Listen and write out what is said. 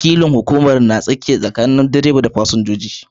Wakilin hukumar na aikin mazan tsakiya sakanin direbe da su fasinja.